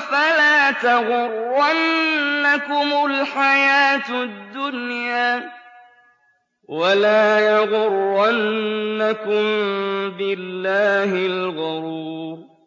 فَلَا تَغُرَّنَّكُمُ الْحَيَاةُ الدُّنْيَا ۖ وَلَا يَغُرَّنَّكُم بِاللَّهِ الْغَرُورُ